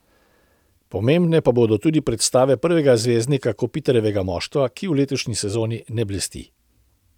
Pomembne pa bodo tudi predstave prvega zvezdnika Kopitarjevega moštva, ki v letošnji sezoni ne blesti.